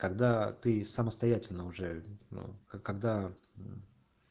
когда ты самостоятельно уже ну когда